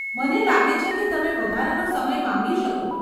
મને લાગે છે કે તમે વધારાનો સમય માંગી શકો.